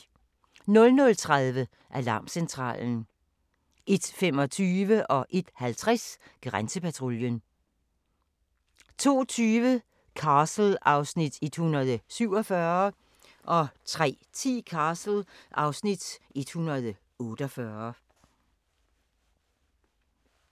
00:30: Alarmcentralen 01:25: Grænsepatruljen 01:50: Grænsepatruljen 02:20: Castle (Afs. 147) 03:10: Castle (Afs. 148)